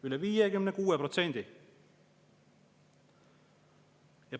Üle 56%!